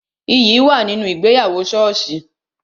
Iyì wà nínú ìgbéyàwó soosi